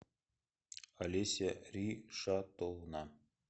олеся ришатовна